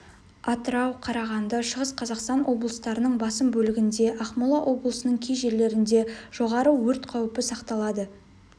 атырау қарағанды шығыс қазақстан облыстарының басым бөлігінде ақмола облысының кей жерлерінде жоғары өрт қаупі сақталады